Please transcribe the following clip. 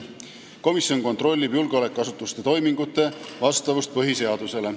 Komisjon kontrollib julgeolekuasutuste toimingute vastavust põhiseadusele.